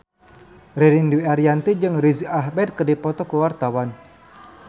Ririn Dwi Ariyanti jeung Riz Ahmed keur dipoto ku wartawan